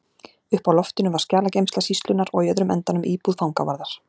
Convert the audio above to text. Uppi á loftinu var skjalageymsla sýslunnar og í öðrum endanum íbúð fangavarðar.